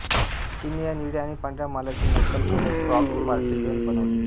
चीनने या निळ्या आणि पांढऱ्या मालाची नक्कल करून क्राक पोर्सिलेन बनवली